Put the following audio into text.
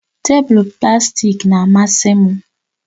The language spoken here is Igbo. Tebụl plastik na-amasị m